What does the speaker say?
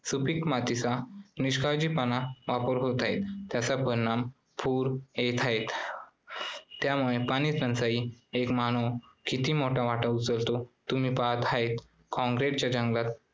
सुपीक मातीचा निष्काळजीपणे वापर होत आहे त्याचा परिणाम पूर येत आहेत. त्यामुळे पाणीटंचाई एक मानव किती मोठा वाटा उचलतो. तुम्ही पाहत आहात concrete च्या जंगलात